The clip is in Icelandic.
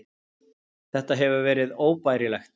Þetta hefur verið óbærilegt.